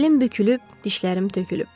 Belim bükülüb, dişlərim tökülüb.